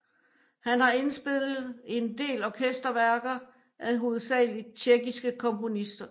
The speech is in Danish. Han har indspillet en del orkester værker af hovedsageligt tjekkiske komponister